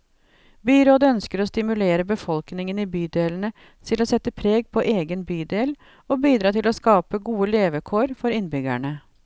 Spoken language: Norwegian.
Byrådet ønsker å stimulere befolkningen i bydelene til å sette preg på egen bydel, og bidra til å skape gode levekår for innbyggerne.